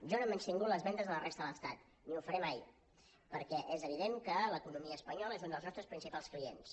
jo no he menystingut les vendes a la resta de l’estat ni ho faré mai perquè és evident que l’economia espanyola és un dels nostres principals clients